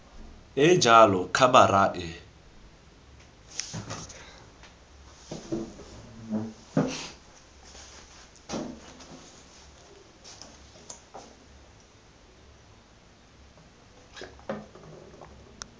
e e jalo khabara e